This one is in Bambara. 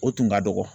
O tun ka dɔgɔ